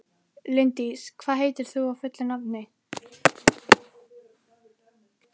Líndís, hvað heitir þú fullu nafni?